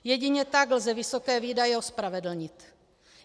Jedině tak lze vysoké výdaje ospravedlnit.